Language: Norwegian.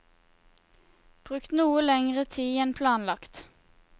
Brukt noe lengre tid enn planlagt.